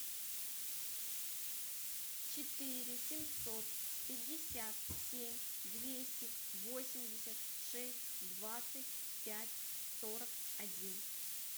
четыре семьсот пятьдесят семь двести восемьдесят шесть двадцать пять сорок один